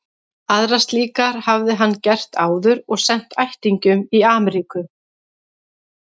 Aðrar slíkar hafði hann gert áður og sent ættingjum í Amríku.